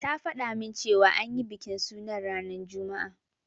Ta fada min cewa an yi bikin sunan ranar juma'a.